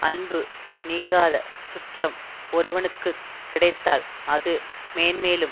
அன்பு நீங்காத சுற்றம் ஒருவனுக்கு கிடைத்தால் அது மேன்மேலும்